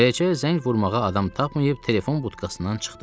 Beləcə, zəng vurmağa adam tapmayıb telefon butkasından çıxdım.